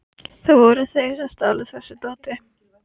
Það voru þeir sem stálu þessu dóti.